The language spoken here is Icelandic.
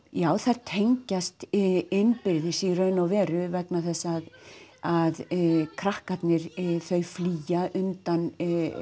já þær tengjast innbyrðis í raun og veru vegna þess að krakkarnir þau flýja undan